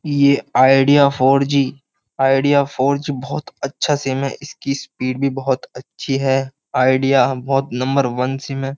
ये Idea four G Idea four G बोहोत अच्छा सिम है इसकी स्पीड भी बोहोत अच्छी है आईडिया बोहोत नंबर वन सिम है।